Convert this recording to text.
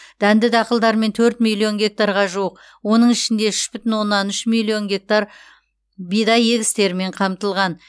дәнді дақылдармен төрт миллион гектарға жуық оның ішінде үш бүтін оннан үш миллион гектар бидай егістерімен қамтылған